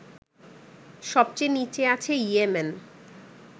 সবচেয়ে নিচে আছে ইয়েমেন